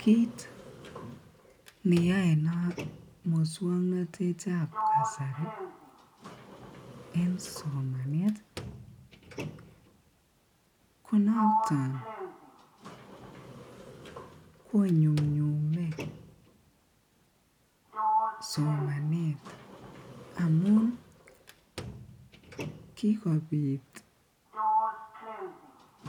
Kiit neyoe muswoknotetab kasari en somanet konoton konyumnyume somanet amun kikobit